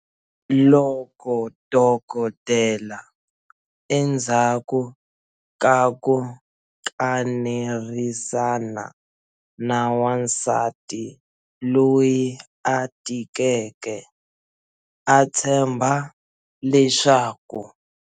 Loko dokodela, endzhaku ka ku kanerisana na wansati loyi a tikeke, a tshemba leswaku.